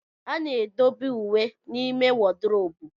A na-edobe uwe n'ime wodrobu.